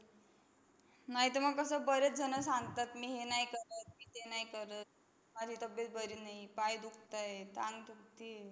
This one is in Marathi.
नाहीतर मग कसं बरेच जण सांगतात, मी हे नाही करत, मी ते नाही करत, माझी तब्येत बरी नाही, पाय दुखताय, अंग दुखतंय,